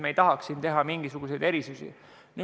Me ei tahaks teha mingisuguseid erisusi.